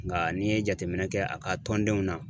Nka n'i ye jateminɛ kɛ a ka tɔndenw na